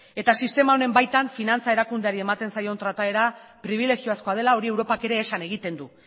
eta sistema honen baitan finantza erakundeari ematen zaion trataera pribilegiozkoa dela hori europak ere esan egiten du